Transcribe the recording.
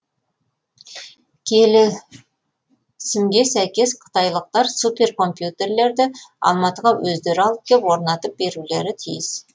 келісімге сәйкес қытайлықтар суперкомпьютерлерді алматыға өздері алып кеп орнатып берулері тиіс